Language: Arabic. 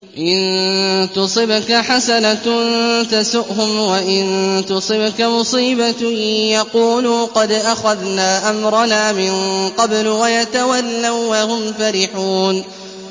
إِن تُصِبْكَ حَسَنَةٌ تَسُؤْهُمْ ۖ وَإِن تُصِبْكَ مُصِيبَةٌ يَقُولُوا قَدْ أَخَذْنَا أَمْرَنَا مِن قَبْلُ وَيَتَوَلَّوا وَّهُمْ فَرِحُونَ